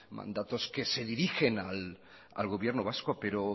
mandatos que se dirigen al gobierno vasco pero